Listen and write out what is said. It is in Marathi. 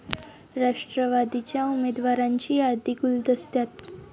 राष्ट्रवादीच्या उमेदवारांची यादी गुलदस्त्यात